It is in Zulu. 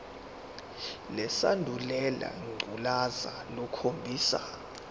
lesandulela ngculazi lukhombisa